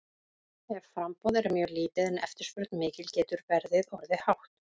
Ef framboð er mjög lítið en eftirspurn mikil getur verðið orðið hátt.